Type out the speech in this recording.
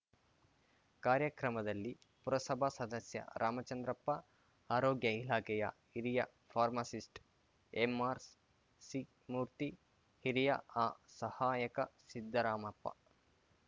ಕಾರ್ಯಕ್ರಮದಲ್ಲಿ ಪುರಸಭಾ ಸದಸ್ಯ ರಾಮಚಂದ್ರಪ್ಪ ಆರೋಗ್ಯ ಇಲಾಖೆಯ ಹಿರಿಯ ಫಾರ್ಮಾಸಿಸ್ಟ್‌ ಎಂಆರ್‌ಸಿ ಮೂರ್ತಿ ಹಿರಿಯಾಆ ಸಹಾಯಕ ಸಿದ್ದರಾಮಪ್ಪ